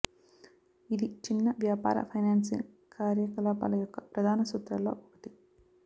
ఇది చిన్న వ్యాపార ఫైనాన్సింగ్ కార్యకలాపాల యొక్క ప్రధాన సూత్రాల్లో ఒకటి